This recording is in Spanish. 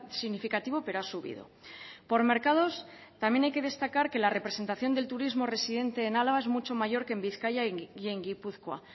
significativo pero ha subido por mercados también hay que destacar que la representación del turismo residente en álava es mucho mayor que en bizkaia y en gipuzkoa